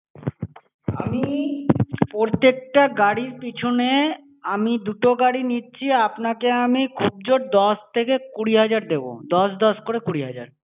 আমি প্রত্যেক টা গাড়ির পিছনে~ আমি দুটো গাড়ি নিচ্ছি, আপনাকে আমি খুব জোর দশ থেকে কুড়ি হাজার দেব, দশ দশ করে কুড়ি হাজার।